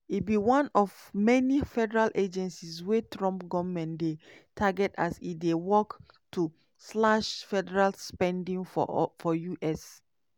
e be one of many federal agencies wey trump goment dey target as e dey work to slash federal spending for us.